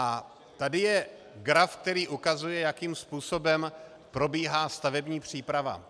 A tady je graf, který ukazuje, jakým způsobem probíhá stavební příprava.